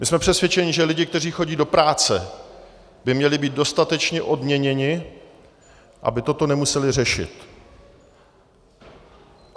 My jsme přesvědčeni, že lidé, kteří chodí do práce, by měli být dostatečně odměněni, aby toto nemuseli řešit.